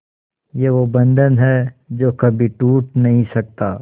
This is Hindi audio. ये वो बंधन है जो कभी टूट नही सकता